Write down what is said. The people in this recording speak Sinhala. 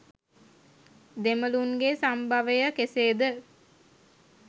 දෙමළුන්ගේ සම්භවය කෙසේද?